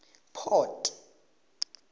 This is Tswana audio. port